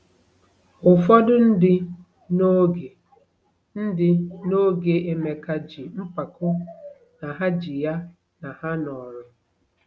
Ụfọdụ ndị n’oge ndị n’oge Emeka ji mpako na ha ji ya na ha nọrọ.